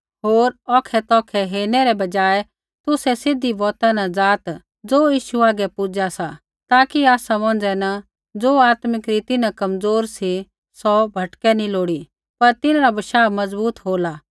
होर औखै तौखै हेरणै रै बजाय तुसै सीधी बौता न ज़ाआत् ज़ो यीशु हागै पूजा सा ताकि आसा मौंझ़ै न ज़ो आत्मिक रीति न कमज़ोर सी सौ भटकै नैंई लोड़ी पर तिन्हरा बशाह मज़बूत होला